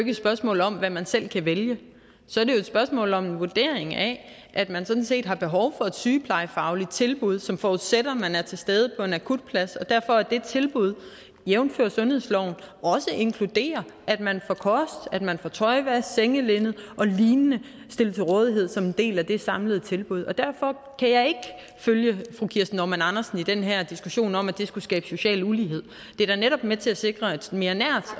et spørgsmål om hvad man selv kan vælge så er det jo et spørgsmål om en vurdering af at man sådan set har behov for et sygeplejefagligt tilbud som forudsætter at man er til stede på en akutplads derfor er det tilbud jævnfør sundhedsloven inkluderet at man får kost at man får tøjvask sengelinned og lignende stillet til rådighed som en del af det samlede tilbud derfor kan jeg ikke følge fru kirsten normann andersen i den her diskussion om at det skulle skabe social ulighed det er da netop med til at sikre et mere nært